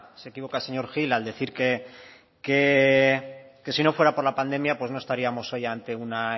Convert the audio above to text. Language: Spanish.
se equivoca señor gil al decir que si no fuera por la pandemia pues no estaríamos hoy ante una